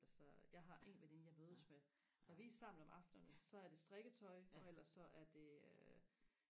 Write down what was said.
altså jeg har en veninde jeg mødes med når vi er sammen om aftenerne så er det strikketøj og ellers så er det øh